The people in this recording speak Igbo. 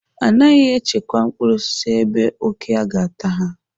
Anaghị echekwa mkpụrụ osisi ebe òké ga-ata ha..